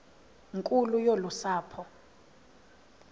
nkulu yolu sapho